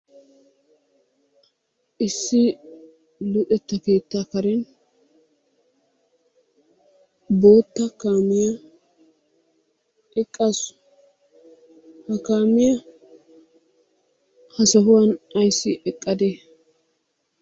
Issi luxetta keettaa karen bootta kaamiya eqqaasu. Ha kaamiya ha sohuwan ayissi eqqade?